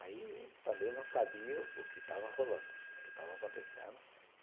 Aí também não sabia o que estava rolando, o que estava acontecendo.